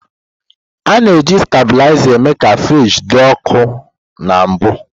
A na-eji stabilizer eme ka friji dị ọkụ na mbụ.